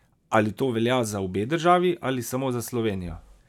Ali to velja za obe državi ali samo za Slovenijo?